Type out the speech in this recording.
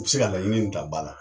I bɛ se ka laɲini in ta ba la